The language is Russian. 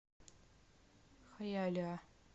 хайалиа